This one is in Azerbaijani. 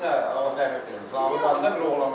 Mənə Allah təhvil versin, zaur adı bir oğlan var.